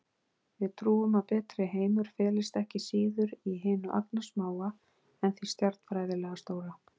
Við trúum að betri heimur felist ekki síður í hinu agnarsmáa en því stjarnfræðilega stóra.